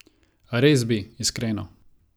Res bi, iskreno.